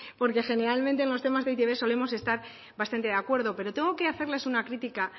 porque generalmente en los temas eitb solemos estar bastante de acuerdo pero tengo que hacerles una crítica